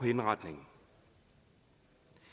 mener at